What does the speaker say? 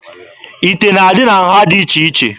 Ite na-adị na nha dị iche iche.